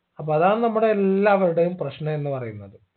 അപ്പൊ അതാണ് നമ്മുടെ എല്ലാവരുടെയും പ്രശ്നം എന്ന് പറയുന്നത്